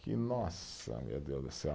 Que nossa, meu Deus do céu.